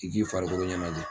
I k'i farikolo ɲɛnajɛ.